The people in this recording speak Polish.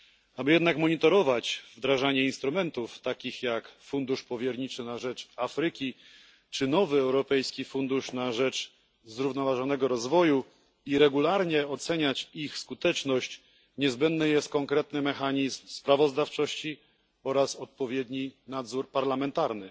Aby jednak monitorować wdrażanie instrumentów takich jak Fundusz Powierniczy na rzecz Afryki czy nowy Europejski Fundusz na rzecz Zrównoważonego Rozwoju i regularnie oceniać ich skuteczność, niezbędny jest konkretny mechanizm sprawozdawczości oraz odpowiedni nadzór parlamentarny.